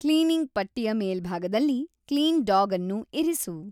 cleaning ಪಟ್ಟಿಯ ಮೇಲ್ಭಾಗದಲ್ಲಿ clean dog ಅನ್ನು ಇರಿಸು